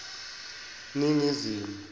ningizimu